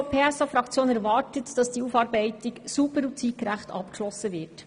Die SP-JUSO-PSAFraktion erwartet, dass diese Aufarbeitung sauber und zeitgerecht abgeschlossen wird.